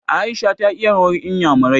Aisha ta iya rawar inyamurai.